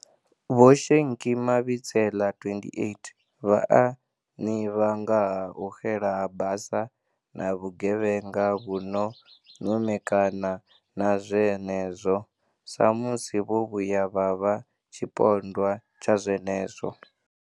Vho Shenki Mabitsela, 28, vha a ḓivha nga ha u xela ha basa na vhugevhenga vhu no ṅumekana na zwenezwo, sa musi vho vhuya vha vha tshipondwa tsha zwenezwo.